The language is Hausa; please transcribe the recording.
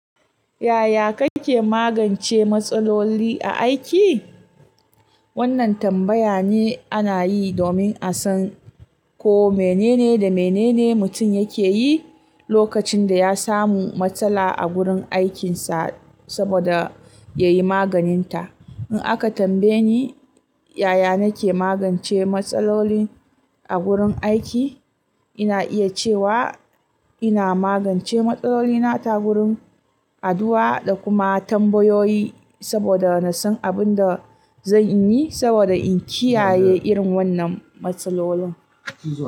Yaya kake magance matsaloli a aiki? Wannan tambaya ne ana yi domin a san ko menene da menene mutum yake yi lokacin da ya samu matsala a gurin aikinsa saboda ya yi maganinta. In aka tambaye ni yaya nake magance matsaloli a gurin aiki, ina iya cewa ina magance matsalolina ta gurin addu'a da kuma tambayoyi saboda na san abin da zan yi saboda in kiyaye irin wannan matsalolin.